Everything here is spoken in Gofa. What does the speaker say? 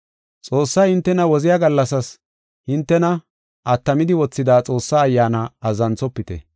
Xoossay hintena woziya gallasas hintena attamidi wothida Xoossaa Ayyaana azzanthofite.